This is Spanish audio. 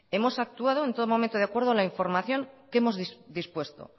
hemos actuado en todo momento de acuerdo a la información que hemos dispuesto